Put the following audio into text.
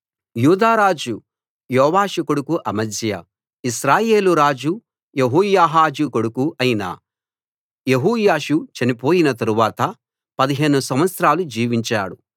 యూదా రాజు యోవాషు కొడుకు అమజ్యా ఇశ్రాయేలు రాజు యెహోయాహాజు కొడుకు అయిన యెహోయాషు చనిపోయిన తరువాత 15 సంవత్సరాలు జీవించాడు